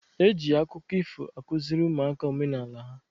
Eji akụkọ ifo akụziri ụmụaka omenala ha.